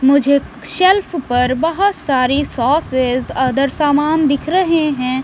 मुझे शेल्फ पर बहुत सारी सॉसेस अदर सामान दिख रहे हैं।